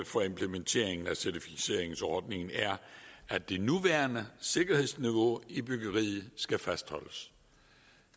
for implementeringen af certificeringsordningen er at det nuværende sikkerhedsniveau i byggeriet skal fastholdes